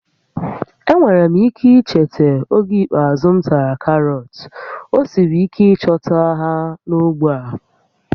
Enweghị m ike icheta oge ikpeazụ m tara karọt, ọ siri ike ịchọta ha n'ógbè a